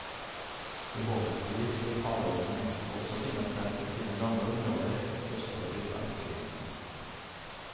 Forhåpentlig vil havørnen også finne frem til sine gamle områder, østover til svenskegrensen.